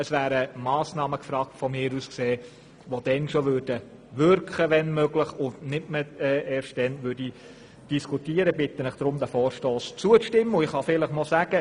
Es wären aus meiner Sicht Massnahmen gefragt, die dann bereits wirken würden.